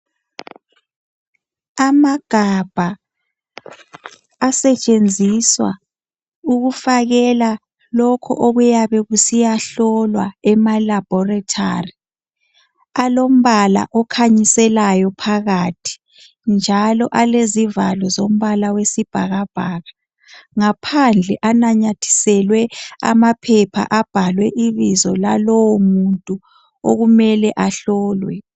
Amagabha asetshenziswa ukufakela lokho okuyabe kusiyahlolwa ema laboratory . Alombala okhanyiselayo phakathi, njalo alezivalo zombala wesibhakabhaka. Ngaphandle anamathiselwe amaphepha abhalwe ibizo lalowo muntu okumele ahlolwe.